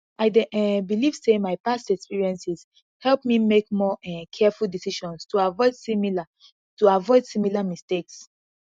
i dey um believe say my past experiences help me make more um careful decisions to avoid similar to avoid similar mistakes